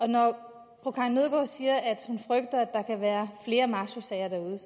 når fru karin nødgaard siger at hun frygter at der kan være flere mashosager derude